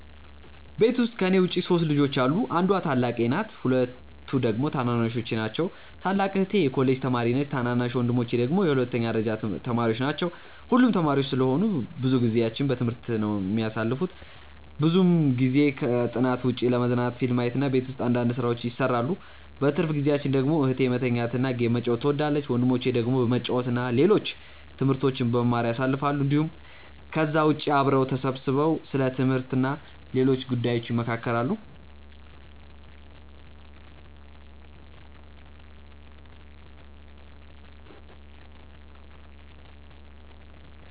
ቤት ውስጥ ከኔ ውጪ 3 ልጆች አሉ። አንዷ ታላቄ ናት ሁለቱ ደግሞ ታናናሾቼ ናቸው። ታላቅ እህቴ የኮሌጅ ተማሪ ነች ታናናሽ ወንድሞቼ ደግሞ የሁለተኛ ደረጃ ተማሪዎች ናቸው። ሁሉም ተማሪዎች ስለሆኑ ብዙ ጊዜአቸውን በትምህርት ነው የሚያሳልፉት። ብዙውን ጊዜ ከጥናት ውጪ ለመዝናናት ፊልም ማየት እና ቤት ውስጥ አንዳንድ ስራዎችን ይሰራሉ። በትርፍ ጊዜአቸው ደግሞ እህቴ መተኛት እና ጌም መጫወት ትወዳለች። ወንድሞቼ ደግሞ በመጫወት እና ሌሎች ትምህርቶችን በመማር ያሳልፋሉ እንዲሁም ከዛ ውጪ አብረው ተሰብስበው ስለ ትምህርት እና ሌሎች ጉዳዮች ይመካከራሉ።